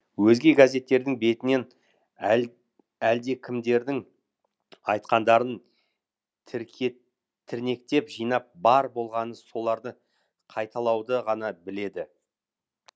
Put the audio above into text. өзге газеттердің бетінен әлдекімдердің айтқандарын тірнектеп жинап бар болғаны соларды қайталауды ғана біледі